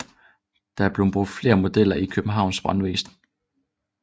Der er blevet brugt flere modeller i Københavns Brandvæsen